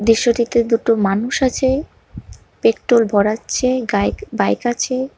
দৃশ্যটিতে দুটো মানুষ আছে পেট্রোল ভরাচ্ছে গাইক বাইক আছে।